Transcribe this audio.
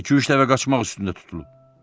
İki-üç dəfə qaçmaq üstündə tutulub.